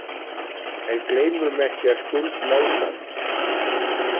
En gleymum ekki að Skuld nálgast.